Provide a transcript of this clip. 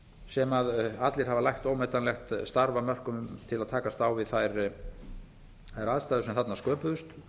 sem allir hafa lagt ómetanlegt starf af mörkum til að takast á við þær aðstæður sem þarna sköpuðust